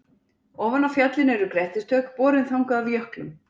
Ofan á fjallinu eru grettistök, borin þangað af jöklum.